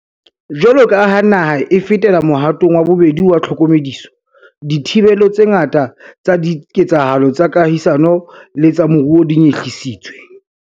Jwaloka ha naha e fetela mohatong wa bobedi wa tlhokomediso, dithibelo tse ngata tsa diketsahalo tsa kahisano le tsa moruo di nyehlisitswe.